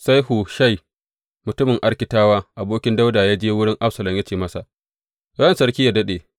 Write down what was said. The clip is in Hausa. Sai Hushai mutumin Arkitawa, abokin Dawuda ya je wurin Absalom ya ce masa, Ran sarki yă daɗe!